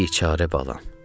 Biçarə balam,